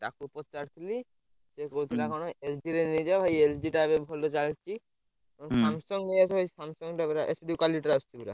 ତାକୁ ପଚାରୁ ଥିଲି ସେ କହୁଥିଲା କଣ? LG ର ନେଇଯାଅ LG ଟା ଏବେ ଭଲ ଚାଲିଛି ଆଉ ହୁଁ Samsung ଟା ନେଇଆସ ଭାଇ Samsung ଟା ପୁରା HD quality ର ଆସୁଛି ପୁରା।